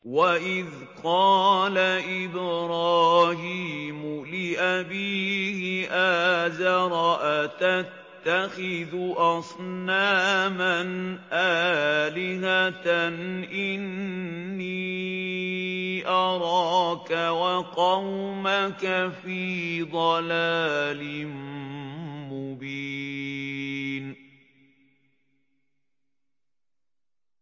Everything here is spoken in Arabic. ۞ وَإِذْ قَالَ إِبْرَاهِيمُ لِأَبِيهِ آزَرَ أَتَتَّخِذُ أَصْنَامًا آلِهَةً ۖ إِنِّي أَرَاكَ وَقَوْمَكَ فِي ضَلَالٍ مُّبِينٍ